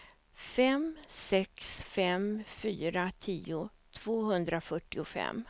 fem sex fem fyra tio tvåhundrafyrtiofem